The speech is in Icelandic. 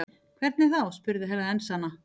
Hvernig þá spurði Herra Enzana.